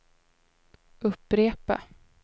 upprepa